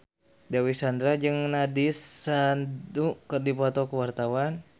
Dewi Sandra jeung Nandish Sandhu keur dipoto ku wartawan